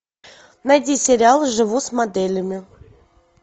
найди сериал живу с моделями